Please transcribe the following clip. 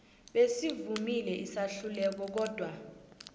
basivumile isahlulelo kodwa